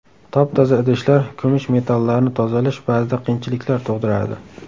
Top-toza idishlar Kumush metallarni tozalash ba’zida qiyinchiliklar tug‘diradi.